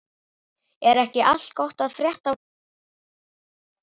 Er ekki allt gott að frétta af konunni og börnunum?